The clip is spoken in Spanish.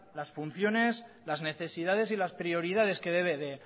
las funciones las necesidades y las prioridades que debe de